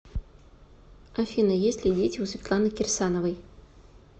афина есть ли дети у светланы кирсановой